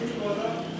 Axşam.